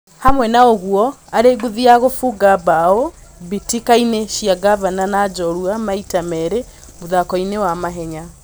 Hamwe na ũguo arĩ ngũthi ya gũbunga mbao mbĩ tĩ kainĩ cia ngavana na njorua maita merĩ mũthako-inĩ ma mahenya.